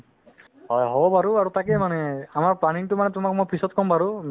হয় হ'ব বাৰু আৰু তাকেই মানে আমাৰ planning তো মানে তোমাক মই পিছত কম বাৰু